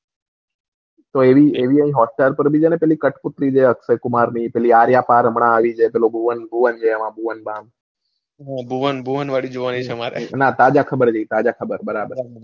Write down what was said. કોઈ એવી hotstar પર છે ને કઠપૂતળી છે અક્ષયકુમાર ની આર ય પર હમણાં આવી છે પેલો ભુવન બામ છે હા ભુવન બામ વળી જોવાની છે હા ભુવન ભુવન વાળી જોવાની છે મારે ના તાઝા ખબર છે બરાબર.